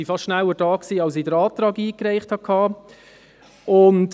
Sie waren fast schneller da, als ich den Antrag einreichen konnte.